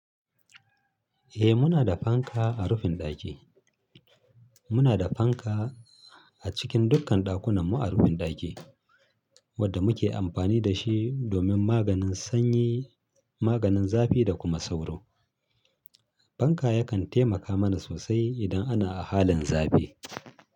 Eh muna da fanka a rufin ɗaki. Muna da fanka a cikin dukkan ɗakunanmu a rufin ɗaki, wadda muke amfani da shi domin maganin sanyi, maganin zafi da kuma sauro. Fanka yakan taimaka mana sosai idan ana a halin zafi.